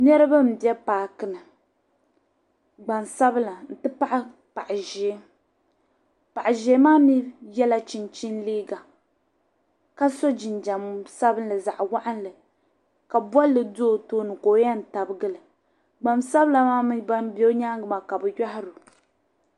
Niriba m-be paaki ni gbansabila nti pahi paɣ' ʒee paɣ' ʒee maa mi yɛla chinchini liiga ka so jinjam sabilinli zaɣ' waɣinli ka bolli do o tooni ka o yɛn tabigi li gbansabila maa mi bam be o nyaaŋga maa ka bɛ yɔhiri o.